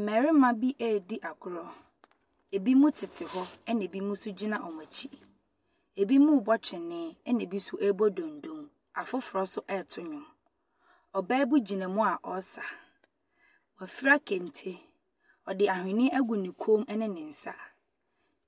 Mmarima bi ɛredi agorɔ. Ɛbinom tete fam na binom nso gyina wɔn akyi. Binom ɛrebɔ kyene na binom nso ɛrebo donnoo. Ɔbaa bi gyina mu ɔresa. Wafura kente, ɔde aweneɛ agu ne kɔn mu ne ne nsa.